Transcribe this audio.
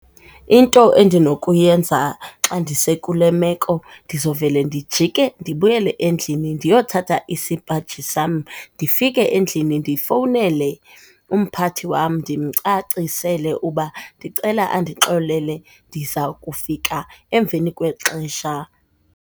Into endinokuyenza xa ndisekule meko ndizovela ndijike ndibuyele endlini ndiyothatha isipaji sam, ndifike endlini ndifowunele umpathi wam ndimcacisele uba ndicela andixolele ndiza kufika emveni kwexesha.